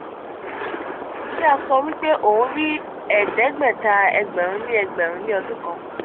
ki a so wipe o nri edegbeta egberun ni egberun ni odun kan.